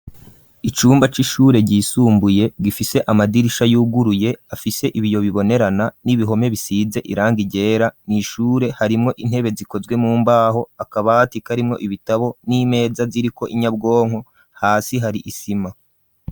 Icumba c'ishure ryisumbuye gifise amadirisha y'uguruye afise ibiyo bibonerana n'ibihome bisize iranga ryera nishure harimwo intebe zikozwe mu mbaho akabati karimwo ibitabo n'imeza ziriko inyabwonko hasi hari isima.